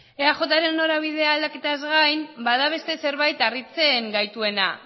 eajren norabidea aldaketaz gain bada beste zerbait harritzen gaituena